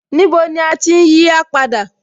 Níbo ni à ti ń yí á padà?